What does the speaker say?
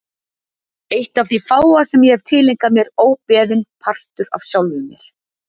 Eitt af því fáa sem ég hef tileinkað mér óbeðinn, partur af sjálfum mér.